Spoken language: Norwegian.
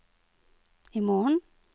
imorgen